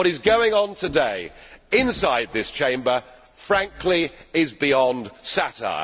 What is going on today inside this Chamber frankly is beyond satire.